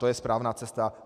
To je správná cesta.